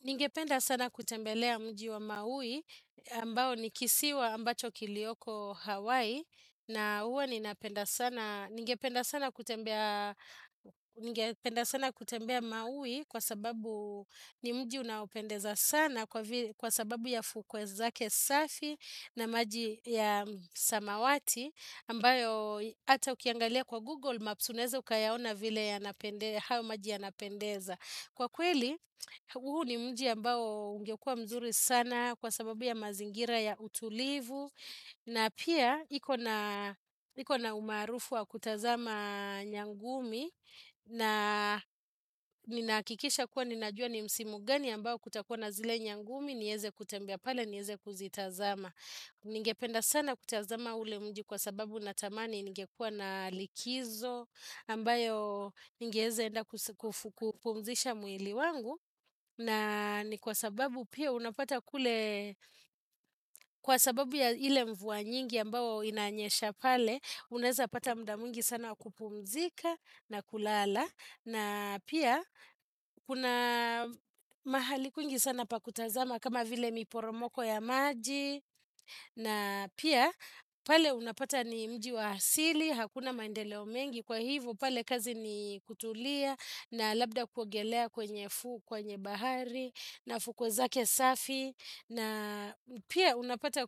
Ningependa sana kutembelea mji wa maui ambao ni kisiwa ambacho kiliyoko Hawaii na huwa ninapenda sana. Ningependa sana kutembea maui kwa sababu ni mji unaopendeza sana kwa sababu ya fukwe zake safi na maji ya samawati ambayo hata ukiangalia kwa Google Maps unaeza ukayaona vile hayo maji yanapendeza. Kwa kweli, huu ni mji ambao ungekua mzuri sana kwa sababu ya mazingira ya utulivu na pia iko na umaarufu wa kutazama nyangumi na ninakikisha kuwa ninajua ni msimu gani ambao kutakuwa na zile nyangumi niweze kutembea pale, niweze kuzitazama. Ningependa sana kutazama ule mji kwa sababu natamani ningekua na likizo ambayo ningewezaenda kupumzisha mwili wangu na ni kwa sababu pia unapata kule kwa sababu ya ile mvua nyingi ambao inanyesha pale unaweza pata muda mwingi sana wa kupumzika na kulala na pia kuna mahali kwingi sana pa kutazama kama vile miporomoko ya maji na pia pale unapata ni mji wa asili Hakuna maendeleo mengi Kwa hivyo pale kazi ni kutulia na labda kuogelea kwenye fuu kwenye bahari na fukwe zake safi na pia unapata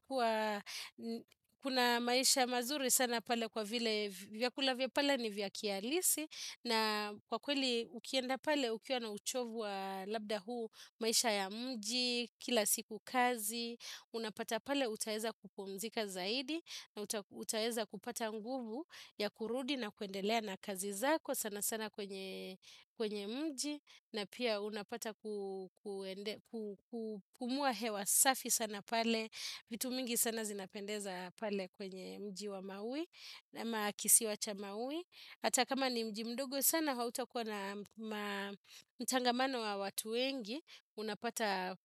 kuna maisha mazuri sana pale kwa vile vyakula vya pale ni vya kihalisi na kwa kweli ukienda pale ukiwa na uchovu wa labda huu maisha ya mji kila siku kazi, unapata pale utaweza kupumzika zaidi na utaweza kupata nguvu ya kurudi na kuendelea na kazi zako sana sana kwenye mji na pia unapata kupumua hewa safi sana pale vitu mingi sana zinapendeza pale kwenye mji wa maui na ama kisiwa cha maui hata kama ni mji mdogo sana hautakua na mtangamano wa watu wengi unapata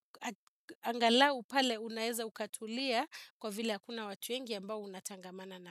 angalau pale unaeza ukatulia kwa vile hakuna watu wengi ambao unatangamana nao.